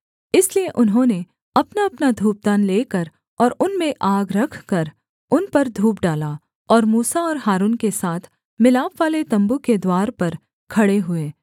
इसलिए उन्होंने अपनाअपना धूपदान लेकर और उनमें आग रखकर उन पर धूप डाला और मूसा और हारून के साथ मिलापवाले तम्बू के द्वार पर खड़े हुए